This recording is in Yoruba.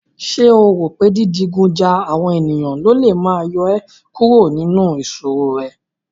Ṣé o rò pé dídigun ja àwọn ènìyàn lólè máa yọ ẹ́ kúrò nínú ìṣòro rẹ?